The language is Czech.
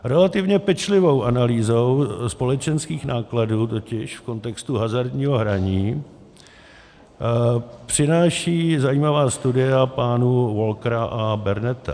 Relativně pečlivou analýzu společenských nákladů totiž v kontextu hazardního hraní přináší zajímavá studie pánů Walkera a Berneta.